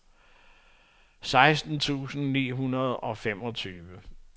seksten tusind ni hundrede og femogtyve